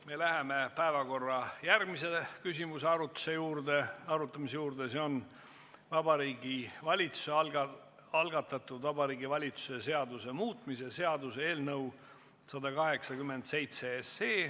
Me läheme järgmise päevakorrapunkti arutamise juurde, see on Vabariigi Valitsuse algatatud Vabariigi Valitsuse seaduse muutmise seaduse eelnõu 187.